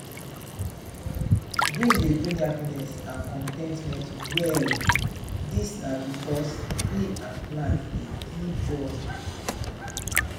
green dey bring happiness and con ten tment well. dis na because tree and plant dey give joy.